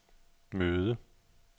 møde